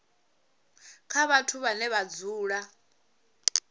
kha vhathu vhane vha dzula